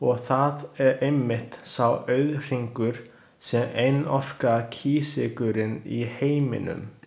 Og það er einmitt sá auðhringur, sem einokar kísilgúrinn í heiminum.